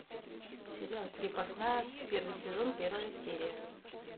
сериал крепостная первый сезон первая серия